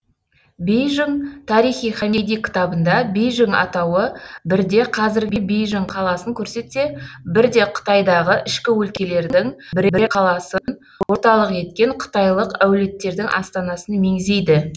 бейжің тарихи хамиди кітабында бейжің атауы бірде қазіргі бейжің қаласын көрсетсе бірде қытайдағы ішкі өлкелердің бірер қаласын орталық еткен қытайлық әулеттердің астанасын меңзейді